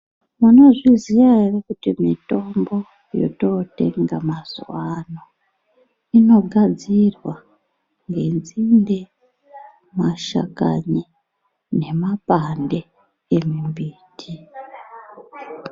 Munozviziya ere kuti mitombo, yotootenga mazuwa ano, inogadzirwa ngenzinde, mashakani nemapande emimbiti?